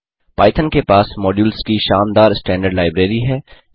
Python के पास modules की शानदार स्टैंडर्ड लाइब्रेरी है